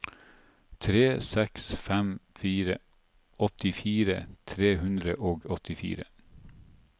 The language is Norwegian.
tre seks fem fire åttifire tre hundre og åttifire